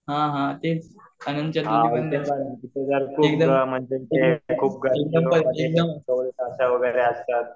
हां हां तेच